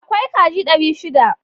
Akwai kaji dari shida.